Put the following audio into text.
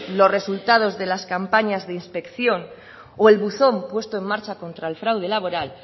los resultados de las campañas de inspección o el buzón puesto en marcha contra el fraude laboral